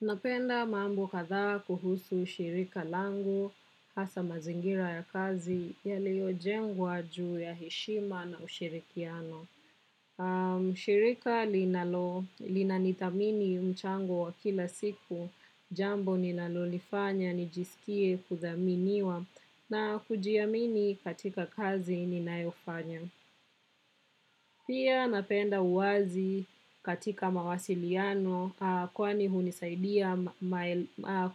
Napenda maambo kadha kuhusu shirika langu hasa mazingira ya kazi yaliyo jengwa juu ya heshima na ushirikiano. Shirika linalo linanithamini mchango wa kila siku jambo ninalo lifanya nijisikie kudhaminiwa na kujiamini katika kazi ninayofanya. Pia napenda uwazi katika mawasiliano kwani hunisaidia